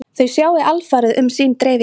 Þau sjái alfarið um sín dreifikerfi